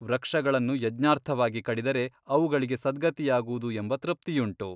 ವೃಕ್ಷಗಳನ್ನು ಯಜ್ಞಾರ್ಥವಾಗಿ ಕಡಿದರೆ ಅವುಗಳಿಗೆ ಸದ್ಗತಿಯಾಗುವುದು ಎಂಬ ತೃಪ್ತಿಯುಂಟು.